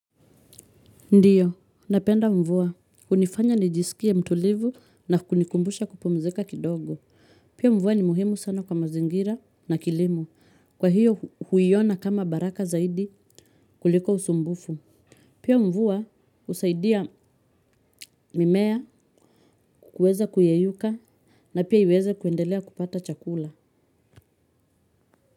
Ndio, napenda mvua. Hunifanya nijisikie mtulivu na kunikumbusha kupumzika kidogo. Pia mvua ni muhimu sana kwa mazingira na kilimo. Kwa hiyo huiona kama baraka zaidi kuliko usumbufu. Pia mvua usaidia mimea kuweza kuyeyuka na pia iweze kuendelea kupata chakula.